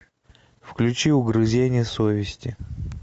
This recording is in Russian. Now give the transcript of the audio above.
включи угрызение совести